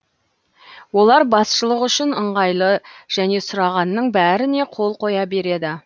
олар басшылық үшін ыңғайлы және сұрағанның бәріне қол қоя береді